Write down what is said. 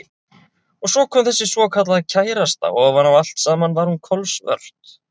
Og svo kom þessi svokallaða kærasta og ofan á allt saman var hún kolsvört.